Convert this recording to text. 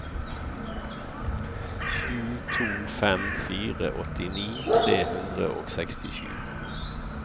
sju to fem fire åttini tre hundre og sekstisju